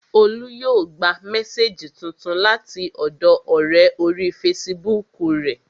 Olú yóò gba mésèjì tuntun láti ọ̀dọọ ọ̀rẹ́ orí fesibúùkù rẹ̀